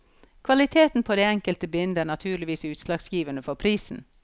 Kvaliteten på det enkelte bind er naturligvis utslagsgivende for prisen.